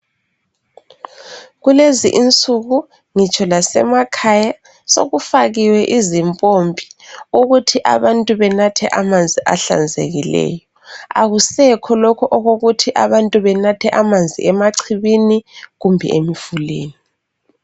kulezi insuku ngitshona ngisemakhaya sokufakiwe izimpompi ukuthi abantu banathe amanzi ahlanzekileyo akusekho lokhu okokuthi abantu benathe amanzi emachibini kumbe emfuleni